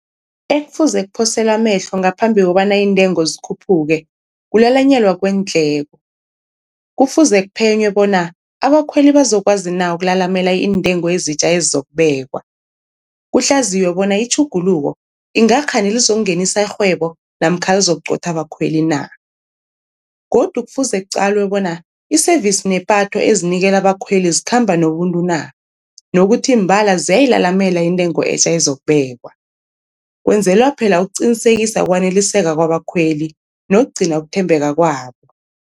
Ekufuze kuphoselwe amehlo ngaphambi kobana iintengo zikhuphuke kulalanyelwa kweendleko, kufuze kuphenywe bona abakhweli bazokwazi na ukulalamela iintengo ezitja ezizokubekwa. Kuhlaziywe bona itjhuguluko ingakghani lizokungenisa irhwebo namkha lizokuqotha abakhweli na. Godu kufuze kuqalwe bona i-service nepatho ezinikela abakhweli zikhamba nobuntu na, nokuthi mbala ziyayilalamela intengo etja ezokubekwa, kwenzela phela ukuqinisekisa ukwaneliseka kwabakhweli nokugcina ukuthembeka kwabo.